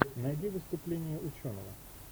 найди выступление ученого